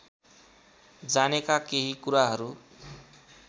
जानेका केही कुराहरू